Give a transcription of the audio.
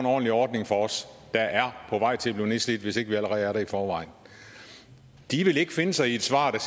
ordentlig ordning for os der er på vej til at blive nedslidt hvis ikke vi allerede er det i forvejen de vil ikke finde sig i et svar der